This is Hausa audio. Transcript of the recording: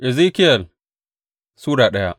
Ezekiyel Sura daya